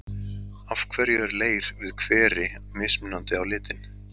Af hverju er leir við hveri mismunandi á litinn?